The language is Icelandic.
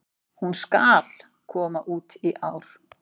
Hún SKAL koma út í ár!